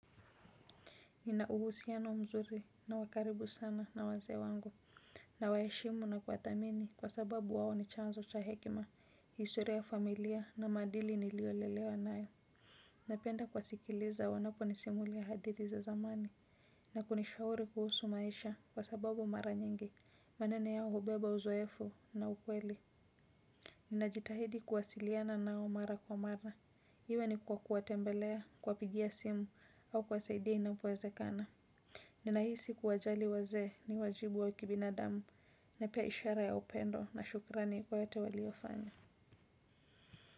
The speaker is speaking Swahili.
Ninauhusiano mzuri na wa karibu sana na wazee wangu, nawaheshimu na kuwathamini kwa sababu wao ni chanzo cha hekima, historia ya familia na maadili niliolelewa nayo. Napenda kuwasikiliza wanapo ni simulia hadithi za zamani na kunishauri kuhusu maisha kwa sababu mara nyingi, maneno yao hubeba uzoefo na ukweli. Ninajitahidi kuwasiliana nao mara kwa mara. Iwe ni kwa kuwatembelea kuwapigia simu au kuwasaidia inapo wezekana. Ninahisi kuwajali wazee ni wajibu wa kibinadamu na pia ishara ya upendo na shukrani kwa yote waliofanya.